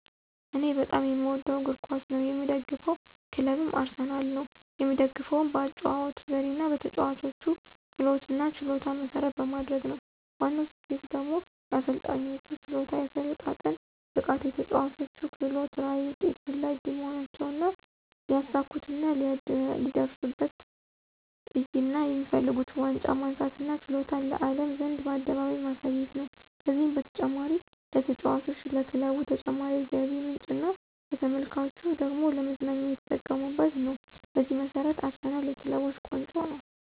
እኔ በጣም የምወደው እግር ኳስ ነው። የምደግፈው ክለብም አርሰናል ነው። የምደግፈውም በአጨዋወቱ ዘዴና በተጨዋቾች ክህሎትና ችሎታን መሰረት በማድረግ ነው። ዋናው ስኬቱ ደግሞ የአሰልጣኙ ችሎታ፣ የአሰለጣጠን ብቃቱ፣ የተጨዋቾች ክህሎት፣ ራዕይ፣ ውጤት ፈላጊ መሆናቸውና ሊያሳኩትና ሊደርሱበትራዕይና የሚፈልጉት ዋንጫ ማንሳትና ችሎታቸውን ለአለም ዘንድ በአደባባይ ማሳየት ነው። ከዚህም በተጨማሪ ለተጫዋቾች፣ ለክለቡ ተጨማሪ የገቢ ምንጭና ለተመልካቹ ደግሞ ለመዝናኛ እየተጠቀመበት ነው። በዚህ መሰረት አርሰናል የክለቦች ቆንጮ ነው